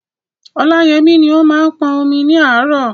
Ọláyẹmí ni ó máa ń pọn omi ní àárọ̀.